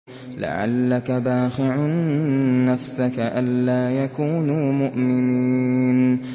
لَعَلَّكَ بَاخِعٌ نَّفْسَكَ أَلَّا يَكُونُوا مُؤْمِنِينَ